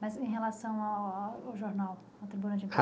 Mas em relação a a ao jornal, a tribuna de